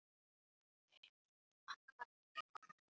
Magnús Egill.